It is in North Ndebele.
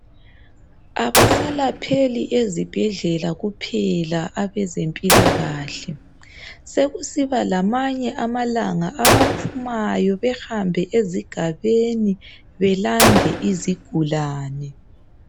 Abasalapheli ezibhedlela kuphela abezempilakahle sekusiba lamanye amalanga abaphumayo behambe ezigabeni belande izigulane.